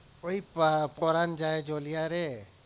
ওই আহ পরান যায় জ্বলিয়া রে